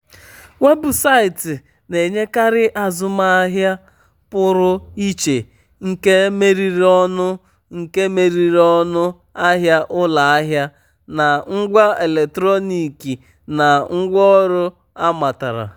weebụsaịtị na-enyekarị azụmahịa pụrụ iche nke meriri ọnụ nke meriri ọnụ ahịa ụlọahịa na ngwa eletrọnịkị na ngwaọrụ amatara.